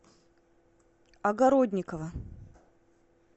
огородникова